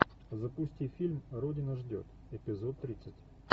запусти фильм родина ждет эпизод тридцать